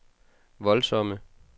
voldsomme